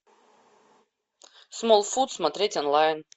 смолфут смотреть онлайн